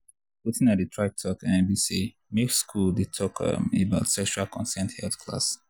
watin i dey try talk um be um say make school dey talk um about sexual consent health class.